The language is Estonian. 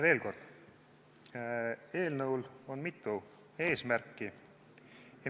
Veel kord, eelnõul on mitu eesmärki.